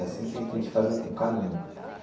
É assim que que a gente faz um caminho.